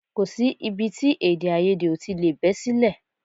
Kò sí ibi tí èdèàìyedè ò tí lè bẹ́ sílẹ̀